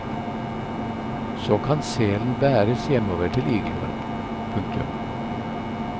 Så kan selen bæres hjemover til igloen. punktum